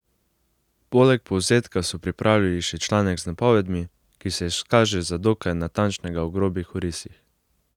Poleg povzetka so pripravili še članek z napovedmi, ki se izkaže za dokaj natančnega v grobih orisih.